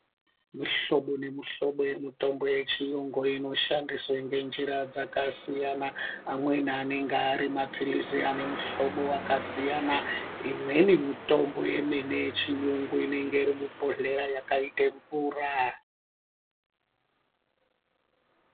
Mihlobo nemihlobo yemitombo yechiyungu inoshandiswe ngenjira dzekasiyana amweni anenge arimapirizi anemuhlobo wakasiyana imweni mitombo yemene yechiyungu inenge iri mubhodhleya yakaite mvura.